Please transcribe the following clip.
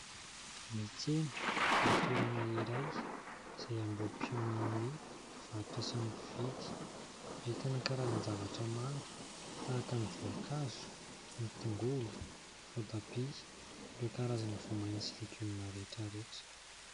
Ny tsena dia toerana iray izay ambohi-piaonan'ny mpivarotra sy ny mpividy hahitana karazana zavatra maro tahaka ny voankazo, ny tongolo, voatabia, ireo karazana voa maina sy legioma rehetra rehetra.